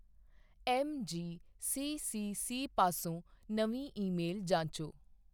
MGCCC ਪਾਸੋਂ ਨਵੀਂ email ਜਾਂਚੋ।